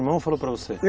Seu irmão falou para você